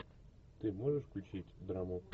ты можешь включить драму